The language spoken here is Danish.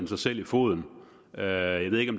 sig selv i foden jeg ved ikke